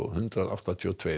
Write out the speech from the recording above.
hundrað áttatíu og tvo